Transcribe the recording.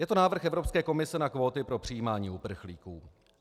Je to návrh Evropské komise na kvóty pro přijímání uprchlíků.